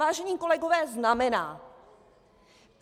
Vážení kolegové, znamená.